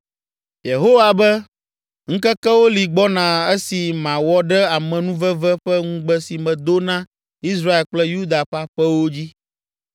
“Yehowa be, ‘Ŋkekewo li gbɔna esi mawɔ ɖe amenuveve ƒe ŋugbe si medo na Israel kple Yuda ƒe aƒewo dzi.’